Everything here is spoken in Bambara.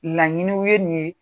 Laɲiniw ye nin ye,